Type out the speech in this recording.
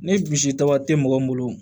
Ni misita tɛ mɔgɔ min bolo